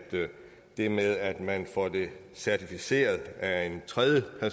det med at man får det certificeret af en tredjepart er